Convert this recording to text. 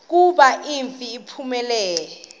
kuba umfi uphumile